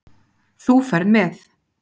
Þú ferð með